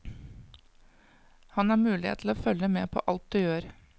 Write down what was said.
Han har mulighet til å følge med på alt du gjør.